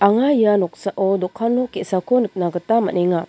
anga ia noksao dokan nok ge·sako nikna gita man·enga.